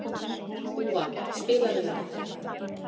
Úa, spilaðu lag.